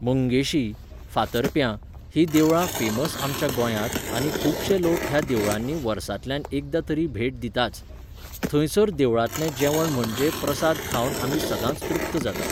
मंगेशी, फार्तप्यां हीं देवळां फेमस आमच्या गोंयांत आनी खूबशे लोक ह्या देवळांनी वर्सांतल्यान एकदां तरी भेट दिताच. थंयसर देवळांतलें जेवण म्हणजे प्रसाद खावन आमी सदांच तृप्त जातात.